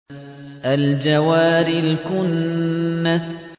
الْجَوَارِ الْكُنَّسِ